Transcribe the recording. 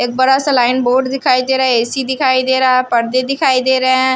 एक बड़ा सा लाइन बोल्ड दिखाई दे रहा है ऐ_सी दिखाई दे रहा है पर्दे दिखाई दे रहे हैं।